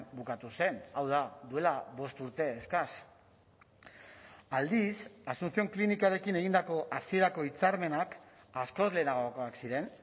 bukatu zen hau da duela bost urte eskas aldiz asuncion klinikarekin egindako hasierako hitzarmenak askoz lehenagokoak ziren